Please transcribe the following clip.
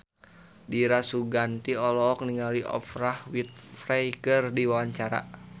Dira Sugandi olohok ningali Oprah Winfrey keur diwawancara